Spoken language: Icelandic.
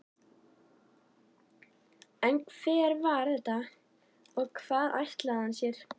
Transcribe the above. En hver var þetta og hvað ætlaði hann sér?